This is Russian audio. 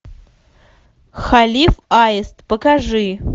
халиф аист покажи